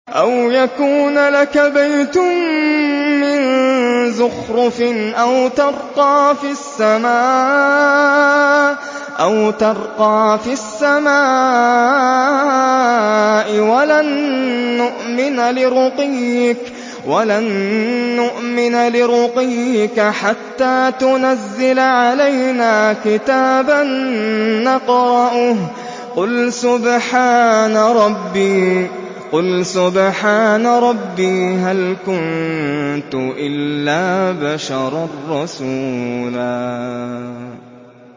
أَوْ يَكُونَ لَكَ بَيْتٌ مِّن زُخْرُفٍ أَوْ تَرْقَىٰ فِي السَّمَاءِ وَلَن نُّؤْمِنَ لِرُقِيِّكَ حَتَّىٰ تُنَزِّلَ عَلَيْنَا كِتَابًا نَّقْرَؤُهُ ۗ قُلْ سُبْحَانَ رَبِّي هَلْ كُنتُ إِلَّا بَشَرًا رَّسُولًا